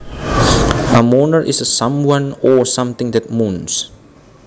A moaner is someone or something that moans